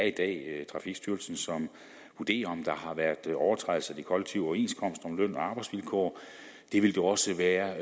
i dag er trafikstyrelsen som vurderer om der har været nogen overtrædelser af de kollektive overenskomster om løn og arbejdsvilkår det vil det også være